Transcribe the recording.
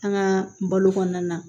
An ka balo kɔnɔna na